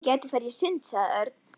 Við gætum farið í sund, sagði Örn.